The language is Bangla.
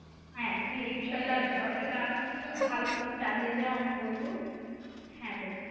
হ্যাঁ তুমি এই বিষয়টার চর্চাটা ভালোমতো চালিয়ে যাও আমি বলব, হ্যাঁ?